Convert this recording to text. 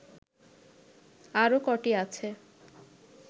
আরও কটি আছে